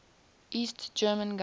east german government